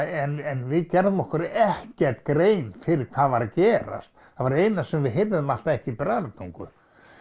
en við gerðum okkur ekkert grein fyrir hvað var að gerast það var eina sem við heyrðum var alltaf ekki Bræðratungu